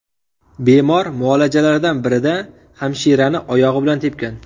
Bemor muolajalardan birida hamshirani oyog‘i bilan tepgan.